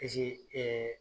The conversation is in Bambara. Eseke